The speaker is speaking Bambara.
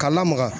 K'a lamaga